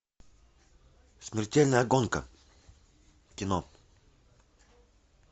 смертельная гонка кино